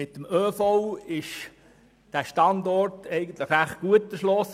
Mit dem ÖV ist dieser Standort recht gut erschlossen.